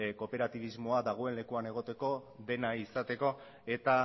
kooperatibismoa dagoen lekuan egoteko dena izateko eta